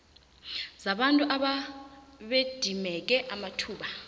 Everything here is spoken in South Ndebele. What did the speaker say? zabantu ababedimeke amathuba